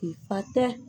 Fa tɛ